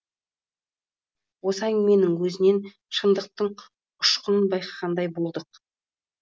осы әңгіменің өзінен шындықтың ұшқынын байқағандай болдық